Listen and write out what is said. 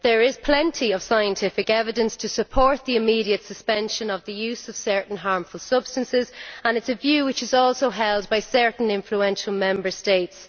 There is plenty of scientific evidence to support the immediate suspension of the use of certain harmful substances, and it is a view which is also held by certain influential Member States.